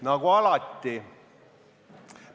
Nagu alati!